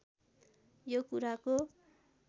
यो कुराको